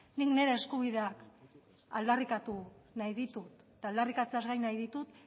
nik nire eskubideak aldarrikatu nahi ditut eta aldarrikatzeaz gain nahi ditut